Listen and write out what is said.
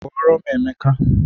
Kpọrọ m Emeka!